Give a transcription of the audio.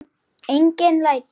Engin læti.